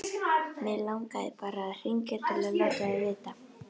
Mig langaði bara að hringja til að láta þig vita.